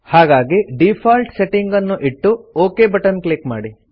ಹಾಗಾಗಿ default setting ಅನ್ನು ಇಟ್ಟು ಒಕ್ ಬಟನ್ ಕ್ಲಿಕ್ ಮಾಡಿ